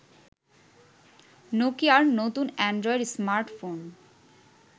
নোকিয়ার নতুন android smartphone